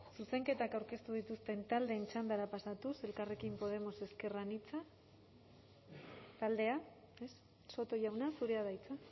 zuzenketak aurkeztu dituzten taldeen txandara pasatuz elkarrekin podemos ezker anitza taldea soto jauna zurea da hitza